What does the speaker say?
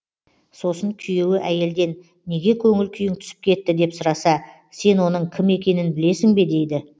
сосын күйеуі әйелден неге көңіл күйің түсіп кетті деп сұраса сен оның кім екенін білесің бе дейді